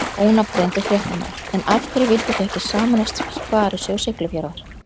Ónafngreindur fréttamaður: En af hverju vildu þið ekki sameinast Sparisjóð Siglufjarðar?